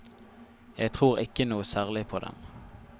Jeg tror ikke noe særlig på dem.